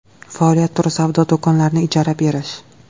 Faoliyat turi savdo do‘konlarini ijara berish.